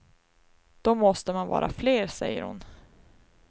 Då måste man vara fler, säger hon.